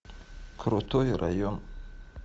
крутой район